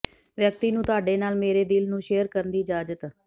ਵਿਅਕਤੀ ਨੂੰ ਤੁਹਾਡੇ ਨਾਲ ਮੇਰੇ ਦਿਲ ਨੂੰ ਸ਼ੇਅਰ ਕਰਨ ਦੀ ਇਜ਼ਾਜਤ